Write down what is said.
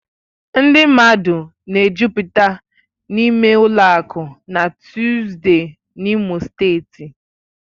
Ndị mmadụ na-ejụ́pụta n'ime ụlọ akụ na Tuzdee n'Imo steeti.